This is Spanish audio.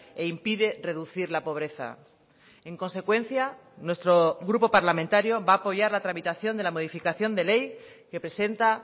e impide reducir la pobreza en consecuencia nuestro grupo parlamentario va a apoyar la tramitación de la modificación de ley que presenta